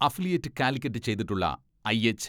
Affiliate Calicut ചെയ്തിട്ടുള്ള IH.